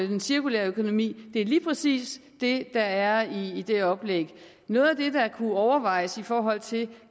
den cirkulære økonomi er lige præcis det der er i det oplæg noget af det der kunne overvejes i forhold til